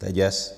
To je děs.